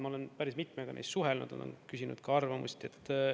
Ma olen päris mitmega neist suhelnud, olen küsinud ka arvamust.